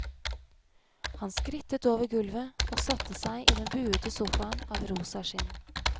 Han skrittet over gulvet og satte seg i den buete sofaen av rosa skinn.